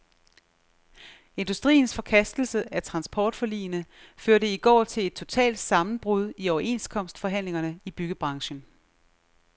Industriens forkastelse af transportforligene førte i går til et totalt sammenbrud i overenskomstforhandlingerne i byggebranchen.